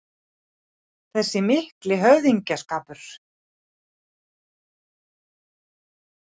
Þessi mikli höfðingsskapur